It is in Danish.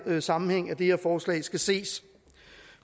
den sammenhæng at det her forslag skal ses